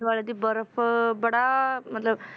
ਦੁਆਲੇ ਦੀ ਬਰਫ਼ ਬੜਾ ਮਤਲਬ